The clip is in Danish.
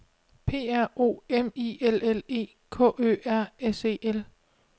P R O M I L L E K Ø R S E L